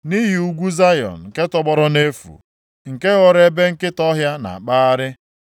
Nʼihi ugwu Zayọn nke tọgbọrọ nʼefu, nke ghọrọ ebe nkịta ọhịa na-akpagharị.